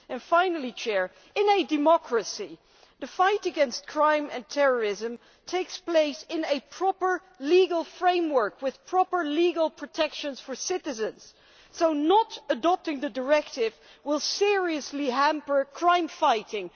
Finally, in a democracy, the fight against crime and terrorism takes place in a proper, legal framework with proper legal protections for citizens, so not adopting the directive will seriously hamper crime fighting.